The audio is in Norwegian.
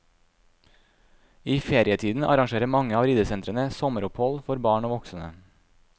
I ferietiden arrangerer mange av ridesentrene sommeropphold for barn og voksne.